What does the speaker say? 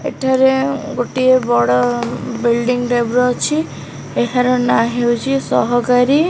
ଏଠାରେ ଗୋଟିଏ ବଡ ବିଲଡିଂ ଟାଇପ୍ ର ଅଛି ଏହାର ନାଁ ହେଉଚି ସହକାରୀ --